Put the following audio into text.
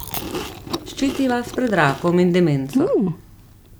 Ščiti vas pred rakom in demenco.